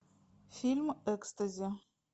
фильм экстази